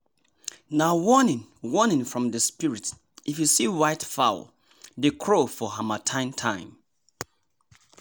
nah warning warning from the spirit if you see white fowl dey crow for harmattan time